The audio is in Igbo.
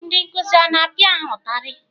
Ndị nkụzi a na-apịa ha ụtarị?